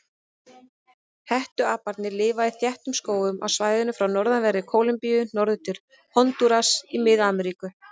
Hettuaparnir lifa í þéttum skógum á svæðinu frá norðanverðri Kólumbíu norður til Hondúras í Mið-Ameríku.